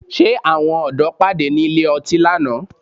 Ṣé Àwọn ọ̀dọ́ pàdé ní ilé ọtí lánàá?